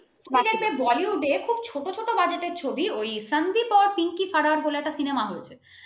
তুমি দেখবে Bollywood র খুব ছোট ছোট budget র ছবিও সান্দিপ অ পিংকি ফারার বলে একটা cinema হয়েছিল